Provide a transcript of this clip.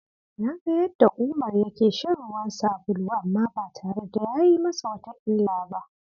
Na ga yadda Umar yake shan ruwan sabulu amma ba tare da ya yi masa wata illa ba!